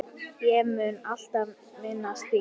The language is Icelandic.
Ég mun alltaf minnast þín.